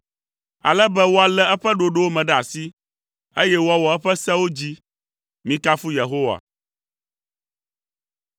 Ale be woalé eƒe ɖoɖowo me ɖe asi, eye woawɔ eƒe sewo dzi. Mikafu Yehowa.